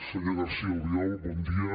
senyor garcía albiol bon dia